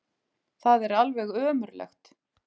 Það er alveg ömurlegt.